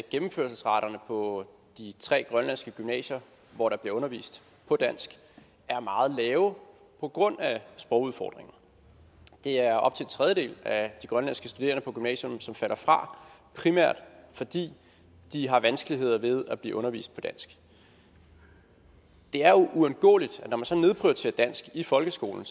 gennemførelsesraterne på de tre grønlandske gymnasier hvor der bliver undervist på dansk er meget lave på grund af sprogudfordringer det er op til en tredjedel af de grønlandske studerende på gymnasierne som falder fra primært fordi de har vanskeligheder ved at blive undervist på dansk det er uundgåeligt at når man så nedprioriterer dansk i folkeskolen